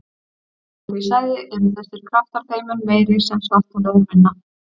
Á því svæði eru þessir kraftar þeim mun meiri sem svartholið er minna.